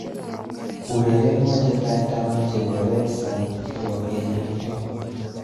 Urerenwo chetai taman chebo Redsun chebo kenyinto